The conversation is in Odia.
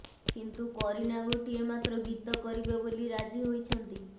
କିନ୍ତୁ କରିନା ଗୋଟିଏ ମାତ୍ର ଗୀତ କରିବେ ବୋଲି ରାଜି ହୋଇଛନ୍ତି